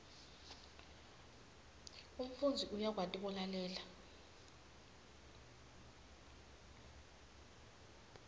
umfundzi uyakwati kulalela